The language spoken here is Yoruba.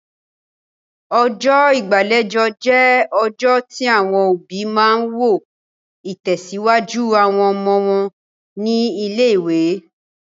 Ọjọ́ ìgbàlejò jẹ́ ọjọ́ tí àwọn òbí máa ń wo ìtẹ̀síwájú àwọn ọmọ wọn ní ilé-ìwé.